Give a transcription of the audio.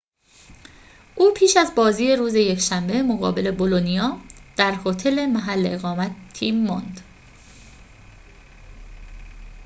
او پیش از بازی روز یکشنبه مقابل بولونیا در هتل محل اقامت تیم ماند